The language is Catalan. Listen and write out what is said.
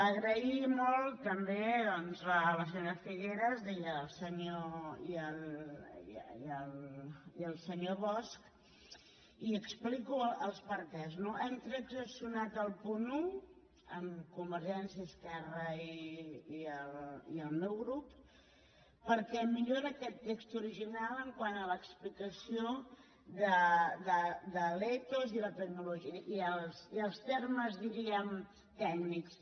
donar molt les gràcies també doncs a la senyora figueras i al senyor bosch i explico els perquès no hem transaccionat el punt un amb convergència esquerra i el meu grup perquè millora aquest text original quant a l’explicació de l’ethos i els termes diríem tècnics